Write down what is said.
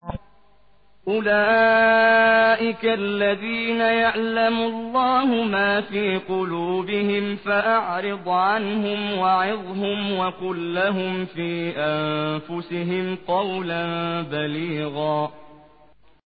أُولَٰئِكَ الَّذِينَ يَعْلَمُ اللَّهُ مَا فِي قُلُوبِهِمْ فَأَعْرِضْ عَنْهُمْ وَعِظْهُمْ وَقُل لَّهُمْ فِي أَنفُسِهِمْ قَوْلًا بَلِيغًا